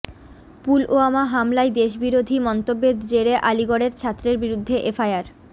পুলওয়ামা হামলায় দেশবিরোধী মন্তব্যের জেরে আলিগড়ের ছাত্রের বিরুদ্ধে এফআইআর